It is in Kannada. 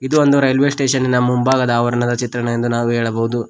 ಇದು ಒಂದು ರೈಲ್ವೆ ಸ್ಟೇಷನ್ ಇನ ಮುಂಭಾಗದ ಆವರಣ ಚಿತ್ರವೆಂದು ನಾವು ಹೇಳಬಹುದು.